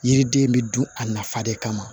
Yiriden bɛ dun a nafa de kama